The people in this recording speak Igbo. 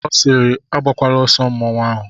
Ọ siiri agakwala nsọ mmanwụ ahụ!